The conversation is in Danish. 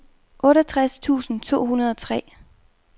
otteogtres tusind to hundrede og tre